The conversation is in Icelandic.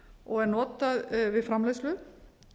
og er notað við framleiðslu